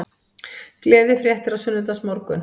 Gleðifréttir á sunnudagsmorgun